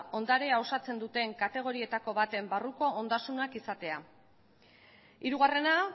ondarea osatzen duten kategorietako baten barruko ondasuna izatea hirugarrena